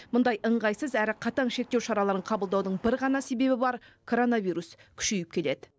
мұндай ыңғайсыз әрі қатаң шектеу шараларын қабылдаудың бір ғана себебі бар коронавирус күшейіп келеді